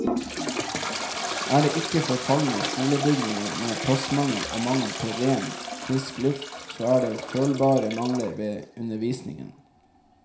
Er det ikke forfalne skolebygninger med plassmangel og mangel på ren, frisk luft, så er det følbare mangler ved undervisningen.